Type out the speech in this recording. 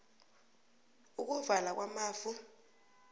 ukuvala kwamafu